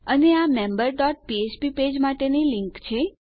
અને આ member dot ફ્ફ્પ પેજ માટેની લીંક છે